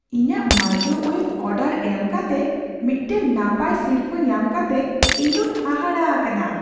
ᱤᱧᱟᱹᱜ microwave order ᱮᱢ ᱠᱟᱛᱮ ᱢᱤᱫᱴᱟᱝ ᱱᱟᱯᱟᱭ ᱥᱤᱨᱯᱟᱹ ᱧᱟᱢ ᱠᱟᱛᱮ ᱤᱧ ᱫᱩᱧ ᱦᱟᱦᱟᱲᱟᱜ ᱟᱠᱟᱱᱟ ᱾